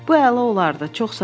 Bu əla olardı, çox sağ ol.